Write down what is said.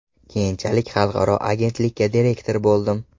Keyinchalik xalqaro agentlikka direktor bo‘ldim.